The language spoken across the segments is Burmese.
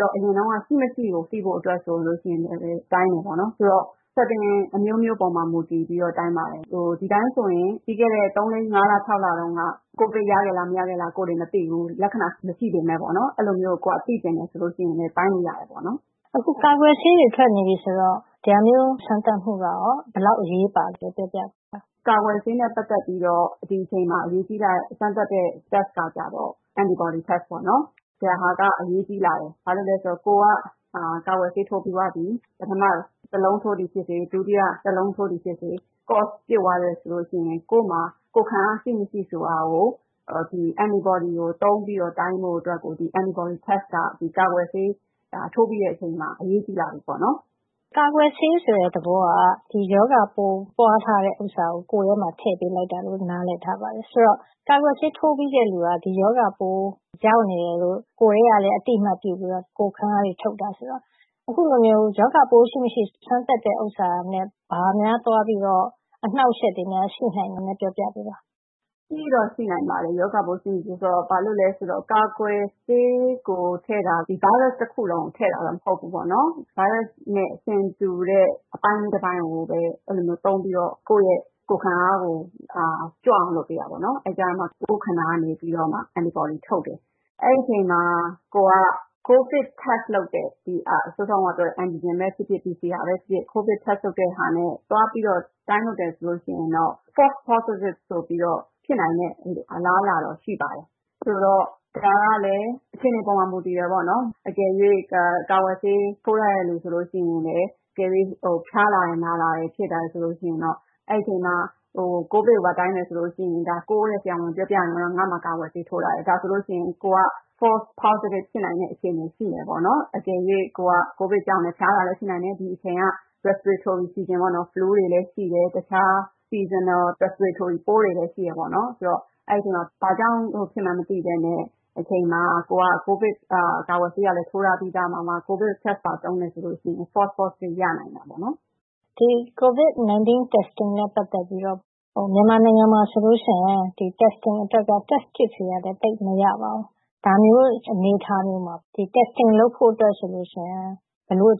တော့ အရင်တုန်းက ရှိမရှိကို သိဖို့အတွက်လည်း စမ်းသပ်တယ်။ ဆိုတော့ အခြေအနေအမျိုးမျိုးပေါ်မှာ မူတည်ပြီးတော့ စမ်းသပ်တိုင်းတာပါတယ်။ ဒီအတိုင်းဆိုရင် ပြီးခဲ့တဲ့ သုံးလေးငါးလ ခြောက်လတုန်းက ကိုဗစ်ရခဲ့သလား၊ မရခဲ့လား မသိခဲ့ဘူး။ လက္ခဏာမရှိပေမယ့်။ အဲဒါကို သိချင်တယ်ဆိုရင် တိုင်းကြည့်လို့ရတယ်။” “အခု ကာကွယ်ဆေးတွေ ထွက်နေပြီဆိုတော့ ဒါမျိုးစမ်းသပ်မှု ဘယ်လောက် အရေးပါသလဲ ပြောပြပေးပါ။ “ ကာကွယ်ဆေးနဲ့ ပတ်သက်ပြီးတော့ ဒီအချိန်မှာ အရေးကြီးတဲ့ စမ်းသပ်မှုကတော့ Antibody Test ဖြစ်ပါတယ်။ ဒီဟာက အရေးကြီးလာတယ်။ ဘာဖြစ်လို့လဲဆိုတော့ ကိုယ်က ကာကွယ်ဆေး ထိုးပြီးသွားပြီ။ ပထမ လုံးထိုးသည်ဖြစ်စေ။ ဒုတိယ လုံး ထိုးသည်ဖြစ်စေ ဆေးပတ်ပြည့်သွားပြီဆိုရင် ကိုယ့်မှာ ကိုယ်ခံအား ရှိမရှိဆိုတာကို ဒီ Antibody စမ်းသပ်မှုက ကာကွယ်ဆေး ထိုးပြီးတဲ့အချိန်မှာ အရေးကြီးလာပါပြီ။” “ကာကွယ်ဆေးဆိုတဲ့ သဘောက ဒီရောဂါပိုး ပွားထားတဲ့ဟာကို ကိုယ်ထဲမှာ ထည့်ပေးလိုက်တာလို့ နားလည်ထားပါတယ်။ ဆိုတော့ ကာကွယ်ဆေး ထိုးပြီးတဲ့လူက ဒီရောဂါပိုး ရောက်နေတယ်လို့ ကိုယ်ထဲကလည်း အသိအမှတ်ပြုပြီးတော့ ကိုယ်ခံအားတွေ ထုတ်တာဆိုတော့ အခုလိုမျိုး ရောဂါပိုး ရှိမရှိ စမ်းသပ်တဲ့ဟာနဲ့ ဘာများသွားပြီးတော့ အနှောင့်အယှက်တွေများ ရှိနိုင်သလဲဆိုတာကို ပြောပြပေးပါ။” ရှိတော့ရှိနိုင်ပါတယ်။ ဘာဖြစ်လို့လဲဆိုတော့ ကာကွယ်ဆေးထဲကို ထည့်ထားတာ ဒီဗိုင်းရပ်စ် တစ်ခုလုံးကို ထည့်ထားတာ မဟုတ်ဘူး။ ဗိုင်းရပ်စ်နဲ့ ဆင်တူတဲ့ အပိုင်းလေးတပိုင်းကိုပဲ သုံးပြီးတော့ ကိုယ့်ရဲ့ ကိုယ်ခံအားကို ကြွအောင်လုပ်ပေးတာ။ အဲဒီအခါကြမှ ကိုယ့်ခန္ဓာကနေ Antibody ထုတ်တယ်။ အဲဒီအချိန်မှာ ကိုယ်က COVID Test ကိုဗစ်စမ်းသပ်မှု လုပ်တဲ့ စောစောကပြောတဲ့ Antigen ပဲဖြစ်ဖြစ်၊ PCR ပဲဖြစ်ဖြစ် စမ်းသပ်မှုနဲ့ သွားပြီးတော့ တိုင်းလုပ်တယ်ဆိုရင်တော့ False Positive ဆိုပြီးတော့ ဖြစ်နိုင်တဲ့ အလားအလာတော့ ရှိပါတယ်။ ဒါကလဲ အခြေအနေပေါ်မှာ မူတည်ပါတယ်။ ကာကွယ်ဆေး ထိုးထားတဲ့လူဆိုရင် အကယ်၍ ဖျားလာတယ်၊ နာလာတယ် ဖြစ်တယ်ဆိုရင်တော့ အဲဒီအချိန်မှာ ကိုဗစ်ကိုပါ တိုင်းမယ်ဆိုရင်တော့ ကိုယ့်ဆရာဝန်ကို ပြောပြရမှာက ငါ့မှာ ကာကွယ်ဆေး ထိုးထားတယ်။ ဒါဆိုရင် ကိုယ်က False Positive ဖြစ်နိုင်တဲ့ အခြေအနေ ရှိတယ်။ အကယ်၍ ကိုယ်က ကိုဗစ်ကြောင့် ဖျားတာလဲ ဖြစ်နိုင်တယ်။ ဒီအချိန်က repository season တုပ်ကွေး flu တွေလည်း ဖြစ်တယ်။ တခြား ရာသီဥတုဆိုင်ရာ ဗိုင်းရပ်စ်ပိုးတွေလည်း ရှိတယ်ဆိုတော့ အဲဒီအချိန်မှာ ဘာကြောင့်ဖြစ်မှန်း မသိတဲ့အချိန်မှာ ကိုယ်က ကိုဗစ်ကာကွယ်ဆေးလည်း ထိုးထားပြီး၊ ကိုဗစ်စစ်ဆေးမှု လုပ်မယ်ဆိုရင် False Positive ရနိုင်တာပေါ့။” “ကိုဗစ်-၁၉ စမ်းသပ်မှုနဲ့ ပတ်သက်ပြီးတော့ မြန်မာနိုင်ငံမှာဆိုရင် test kit တွေကလည်း သိပ်မရသေးတော့ ဒါမျိုးအခြေအနေ၊ အနေအထားမျိုးမှာ စစ်ဆေးစမ်းသပ်မှု လုပ်ဖို့အတွက် ဘာတွေအ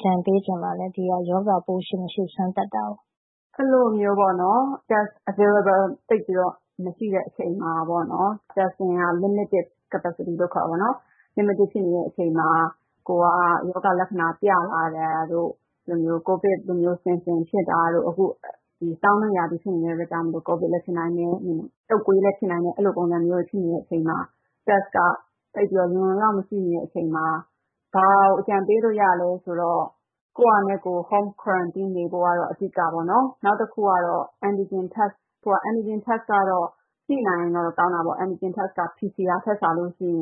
ကြံပေးချင်ပါလဲ ဒီလို ရောဂါပိုး ရှိမရှိ စမ်းသပ်တာကို။” “အဲဒီလိုမျိုး စစ်ဆေးစမ်းသပ်မှုလုပ်ဖို့ သိပ်မရှိသေးတဲ့ အချိန်မှာ ကိုယ်က ရောဂါလက္ခဏာ ပြလာတာတို့၊ ကိုဗစ်လိုမျိုးဆင်ဆင်ဖြစ်တာတို့၊ အခု ဆောင်းတွင်းရာသီဆိုတာ့ ကိုဗစ်လည်း ဖြစ်နိုင်တယ်။ တုပ်ကွေးလည်း ဖြစ်နိုင်တယ်။ အဲဒီလိုမျိုး ဖြစ်တယ်ဆိုရင် စစ်ဆေးမှုက လုံလုံလောက်လောက် မရှိတဲ့အချိန်မှာ ဘယ်လိုအကြံပေးလို့ ရသလဲဆိုတော့ ကိုယ့်ဟာနဲ့ကိုယ် အိမ်မှာပဲ သီးခြားနေဖို့၊ အဓိက ဖြစ်တယ်။ နောက်တစ်ခုကတော့ Antigen Test ကတော့ ရှိနိုင်ရင်တော့ ကောင်းတာပေါ့။ Antigen Test က PCR ထက်စာရင် ဆေး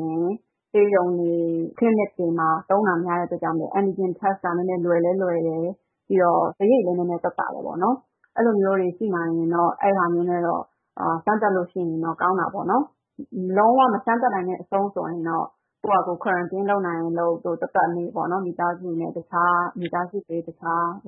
ရုံတွေ၊ ဆေးခန်းတွေမှာ သုံးတာများတဲ့အတွက် Antigen Test က နည်းနည်းလွယ်တယ်။ ပြီးတော့ စရိတ်လည်း နည်းနည်းသက်သာတယ်။ အဲဒီလိုမျိုးတွေ ရှိနိုင်ရင်တော့ အဲဒါမျိုးနဲ့ စမ်းသပ်နိုင်ရင်တော့ ကောင်းတာပေါ့။ လုံးဝမစမ်းသပ်နိုင်ဘူးဆိုရင်တော့ ကိုယ့်ဟာကိုယ် Q လုပ်နိုင်ရင်လုပ်၊ မိသားစုနဲ့ခွဲပြီးတော့ သက်သက်နေနိုင်ပါတယ်။” ဒေါက်တာဖြူမြတ်သွယ်ပါ။ က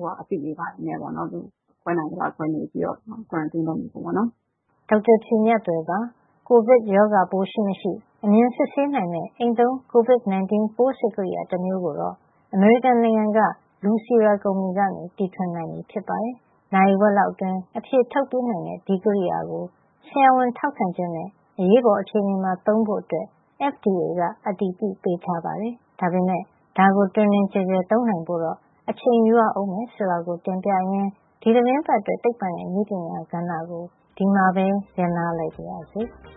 ိုဗစ်ရောဂါပိုးရှိမရှိ အမြန်စစ်ဆေးနိုင်မယ့် အိမ်သုံး Covid 19 ပိုးစစ်ကရိယာ တမျိုးကိုတော့ အမေရိကန်နိုင်ငံက Lucira ကုမ္ပဏီက တီထွင်နိုင်ပြီဖြစ်ပါတယ်။ နာရီဝက်လောက်အတွင်း အဖြေထုတ်ပေးနိုင်တဲ့ ဒီကရိယာကို ဆရာဝန်ထောက်ခံချက်နဲ့ အရေးပေါ်အခြေနေမှာ သုံးဖို့ FDA က အတည်ပြုပေးထားပါတယ်။ ဒါပေမယ့် ဒါကို တွင်တွင်ကျယ်ကျယ် သုံးနိုင်ဖို့တော့ အချိန်ယူရအုံးမယ် ဆိုတာကို တင်ပြရင်း ဒီသီတင်းပတ်အတွက် သိပ္ပံနဲ့နည်းပညာ ကဏ္ဍကို ဒီမှာပဲ ရပ်နားလိုက်ပါရစေ။